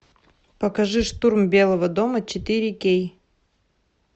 покажи штурм белого дома четыре кей